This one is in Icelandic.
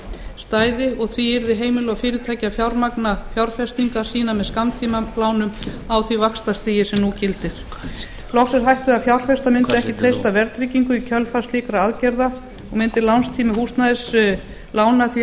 stæði og því yrðu heimili og fyrirtæki að fjármagna fjárfestingar sínar með skammtímalánum á því vaxtastigi sem nú gildir loks er hætt við að fjárfestar mundu ekki treysta verðtryggingu í kjölfar slíkra aðgerða og mundi lánstími húsnæðislána því að